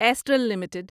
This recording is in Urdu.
astral limited